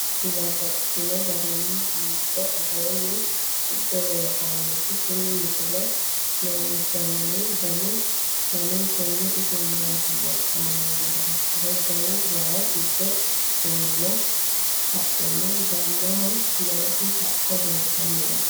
Babaxxittinno garinni biiffe aleenni hige leelittannotti tinni misile lelishshanori danu danunkunni isi maattiya yinummoha ikkiro jawu wayi giddo uwinno haqqinna gamaho nootti haqqe leelittanni noo